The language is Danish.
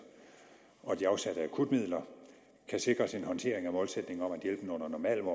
og de afsatte akutmidler kan sikres en håndtering af målsætningen om at hjælpen under normale